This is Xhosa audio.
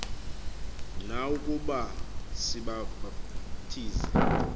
na ukuba sibabhaptize